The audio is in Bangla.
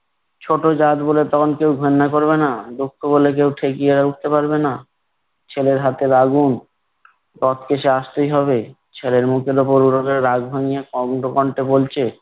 ছোট জাত বলে তখন কেউ কান্না করবে না। দুঃখ বলে কেউ ঠেকিয়ে উঠতে পারবে না। ছেলের হাতের আগুন টপকে সেই আসতেই হবে। ছেলের রাগ ভাঙিয়ে কণ্ঠে বলছে